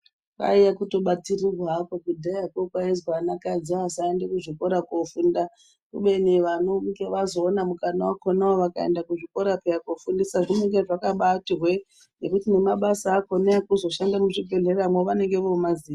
Kwaiye kutobatirirwa hakwo kudhaya kuya kwaizwi vanakadzi vasaende kuzvikora kofunda. Kubeni vanonga vazoona mukana wakhonawo vakaenda kuzvikora kofundiswa zvinenge zvakabaati hwe ngekuti nemabasa akhona ekuzoshanda muzvibhedhlera vanenge vomaziya.